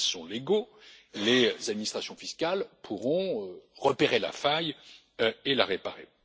S'ils sont légaux, les administrations fiscales pourront repérer la faille et la réparer.